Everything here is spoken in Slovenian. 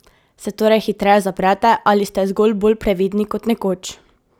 Se torej hitreje zaprete ali ste zgolj bolj previdni kot nekoč?